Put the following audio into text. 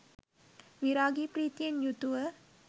විරාගී ප්‍රීතියෙන් යුතුව